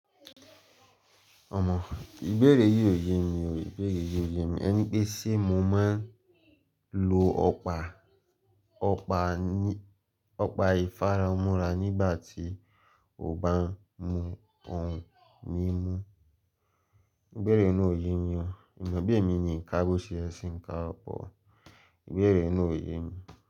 Ọmọ, ìbéèrè yìí ò ye mi o, ìbéèrè yìí ò ye mi. Ẹ ní pé ṣé mo máa ń lo ọ́pa? Ọ̀pá ìfaramúra nígbà tí ó bá ń mu ohun mímu? Ìbéèrè náà ò ye mi o. Èèyàn bi mi ni nǹkan gbó ṣe ẹṣin nǹkan ọ̀pọ̀, ìbéèrè náà ò ye mi.